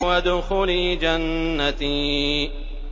وَادْخُلِي جَنَّتِي